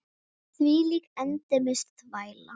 Þvílík endemis þvæla.